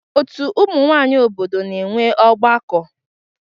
Ọtú ụmụ nwanyị obodo na-enwe ọgbakọ.